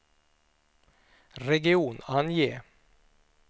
region, ange